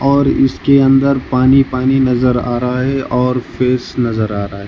और इसके अंदर पानी पानी नजर आ रहा है और फेस नजर आ रहा है।